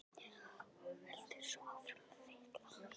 Og heldur svo áfram að fitla.